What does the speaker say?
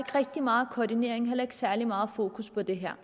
rigtig meget koordinering heller ikke særlig meget fokus på det her